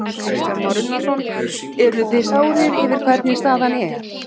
Kristján Már Unnarsson: Eruð þið sárir yfir hvernig staðan er?